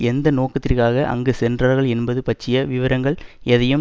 எந்த நோக்கத்திற்காக அங்கு சென்றார்கள் என்பது பற்றிய விபரங்கள் எதையும்